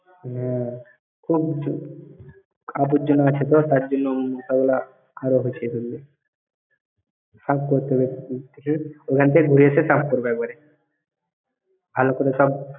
হ্যাঁ। খুব আবর্জনা আছে তো, তার জন্য মশাগুলা আরো । সাফ করতে হবে। ওই থেকে, ওইখান থেকে ঘুরে এসে সাফ করব একবারে। ভালো করে সাফ।